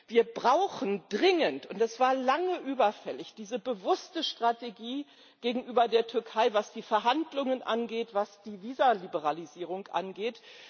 Wir brauchen dringend und das war lange überfällig diese bewusste Strategie gegenüber der Türkei, was die Verhandlungen angeht, was die Visaliberalisierung angeht.